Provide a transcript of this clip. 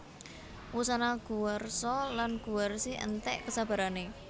Wusana Guwarsa lan Guwarsi enték kesabarané